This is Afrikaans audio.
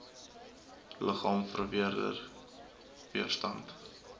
liggaam vermeerder weerstand